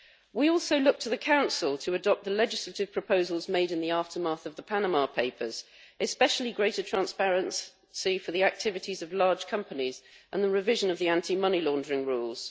We also look to the Council to adopt the legislative proposals made in the aftermath of the Panama Papers, especially greater transparency for the activities of large companies and the revision of the anti money laundering rules.